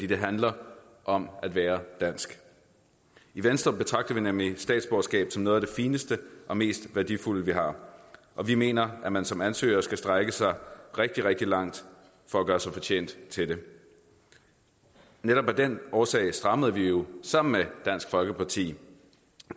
det handler om at være dansk i venstre betragter vi nemlig statsborgerskab som noget af det fineste og mest værdifulde vi har og vi mener at man som ansøger skal strække sig rigtig rigtig langt for at gøre sig fortjent til det netop af den årsag strammede vi jo sammen med dansk folkeparti